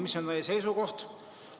Mis on teie seisukoht?